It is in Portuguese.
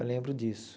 Eu lembro disso.